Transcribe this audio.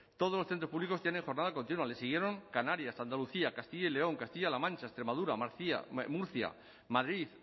todos los centros públicos tienen jornada continua le siguieron canarias andalucía castilla y león castilla la mancha extremadura murcia madrid